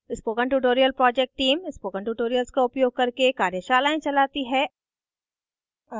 spoken tutorial project team spoken tutorials का उपयोग करके कार्यशालाएं चलाती है